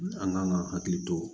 An kan ka hakili to